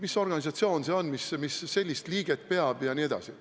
Mis organisatsioon see on, kuhu kuulub selline liige?